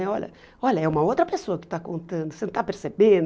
Né? Olha, olha, é uma outra pessoa que está contando, você não está percebendo?